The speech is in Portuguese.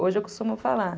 Hoje eu costumo falar.